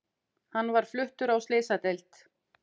Hann var fluttur á slysadeild